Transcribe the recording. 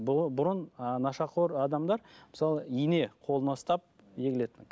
бұрын нашақор адамдар мысалы ине қолына ұстап егілетін